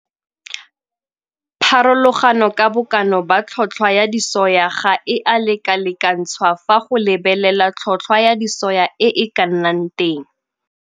Pharologano ka bokana ba tlhotlhwa ya disoya ga e a lekalekantshwa fa go lebelelwa tlhotlhwa ya disoya e e ka nnang teng.